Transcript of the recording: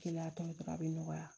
Kiliya tɔn dɔrɔn a bɛ nɔgɔya